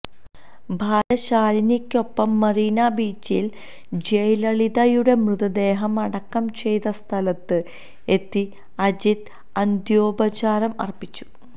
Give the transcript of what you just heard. ഭാര്യ ശാലിനിക്കൊപ്പം മറീന ബീച്ചിൽ ജയലളിതയുടെ മൃതദേഹം അടക്കം ചെയ്ത സ്ഥലത്ത് എത്തി അജിത് അന്ത്യോപചാരം അർപ്പിച്ചു